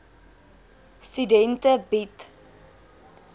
studente bied